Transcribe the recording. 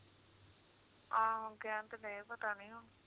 ਆਹੋ ਕਹਿਣ ਤੇ ਦਏ ਪਤਾ ਨੀ ਹੁਣ